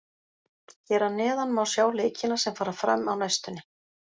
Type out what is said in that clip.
Hér að neðan má sjá leikina sem fara fram á næstunni.